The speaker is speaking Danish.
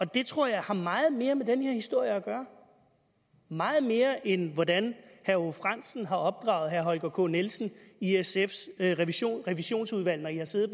det tror jeg har meget mere med den her historie at gøre meget mere end hvordan herre aage frandsen har opdraget herre holger k nielsen i sfs revisionsudvalg når i har siddet